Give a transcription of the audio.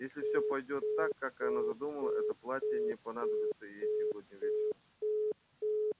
если все пойдёт так как она задумала это платье не понадобится ей сегодня вечером